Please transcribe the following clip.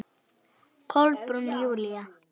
Kolbrún Júlía.